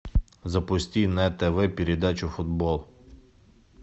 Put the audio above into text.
запусти на тв передачу футбол